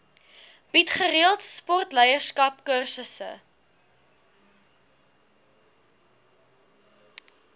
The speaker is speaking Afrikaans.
bied gereeld sportleierskapskursusse